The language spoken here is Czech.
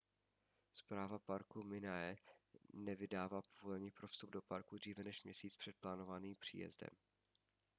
správa parku minae nevydává povolení pro vstup do parku dříve než měsíc před plánovaným příjezdem